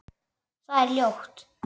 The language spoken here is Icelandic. Það er hljótt.